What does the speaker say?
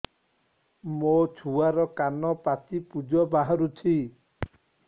ମୋ ଛୁଆର କାନ ପାଚି ପୁଜ ବାହାରୁଛି